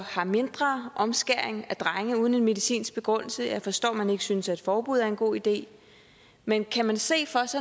har mindre omskæring af drenge uden en medicinsk begrundelse jeg forstår at man ikke synes at et forbud er en god idé men kan man se